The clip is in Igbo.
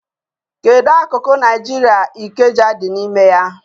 Kedu akụkụ Naijiria Ikeja dị n'ime ya?